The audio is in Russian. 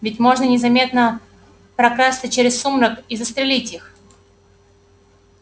ведь можно незаметно прокрасться через сумрак и застрелить их